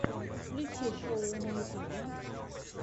включи шоу на ютюбе